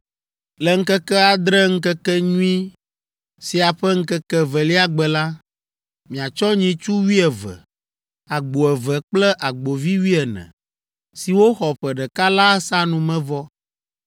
“Le ŋkeke adre Ŋkekenyui sia ƒe ŋkeke evelia gbe la, miatsɔ nyitsu wuieve, agbo eve kple agbovi wuiene, siwo xɔ ƒe ɖeka la asa numevɔ